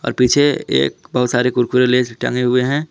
और पीछे एक बहोत सारे कुरकुरे लेज टंगे हुए हैं।